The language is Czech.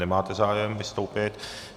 Nemáte zájem vystoupit.